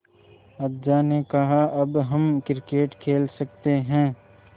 अज्जा ने कहा अब हम क्रिकेट खेल सकते हैं